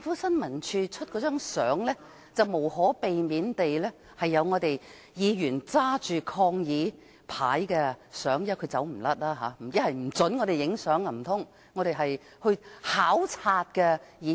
新聞處發出的照片，無可避免拍到有議員手執抗議牌的情境，他們無法不准我們拍照，因我們是考察的議員。